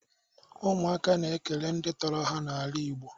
Ụmụaka na-ekele ndị tọrọ ha n'ala igbo